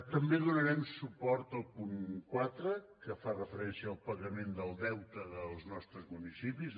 també donarem suport al punt quatre que fa referència al pagament del deute dels nostres municipis